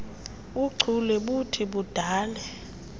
buchule buthi budale